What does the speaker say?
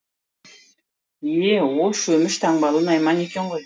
е е ол шөміш таңбалы найман екен ғой